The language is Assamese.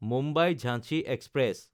মুম্বাই–ঝাঞ্চি এক্সপ্ৰেছ